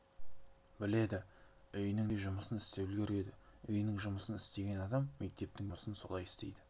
біледі үйінің де жұмысын істеп үлгереді үйінің жұмысын істеген адам мектептің де жұмысын солай істейді